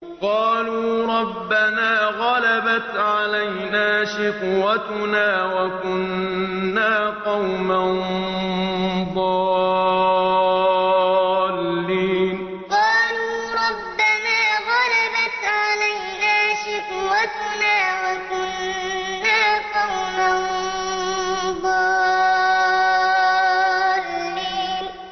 قَالُوا رَبَّنَا غَلَبَتْ عَلَيْنَا شِقْوَتُنَا وَكُنَّا قَوْمًا ضَالِّينَ قَالُوا رَبَّنَا غَلَبَتْ عَلَيْنَا شِقْوَتُنَا وَكُنَّا قَوْمًا ضَالِّينَ